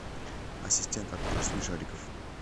ассистент открой смешариков